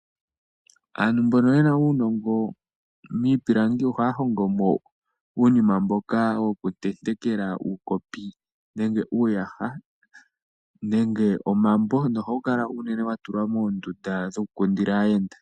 Aantu mbono yena uunongo miipilangi ohaya hongomo uunima mboka wo ku tentekela uukopi nenge uuyaha osho wo omambo, ohawu kala wa tulwa moondunda dhoku kundila aayenda.